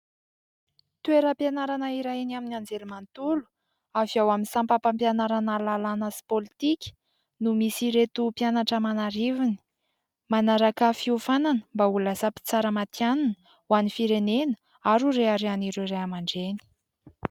Toeram-pianarana iray eny amin'ny Anjerimantolo avy ao amin'ny sampam-pampianarana lalàna sy pôlitika no misy ireto mpianatra aman'arivony manaraka fiofanana mba ho lasa mitsara matianina ho an'ny firenena ary ho reharehan'ireo Ray aman-dreny.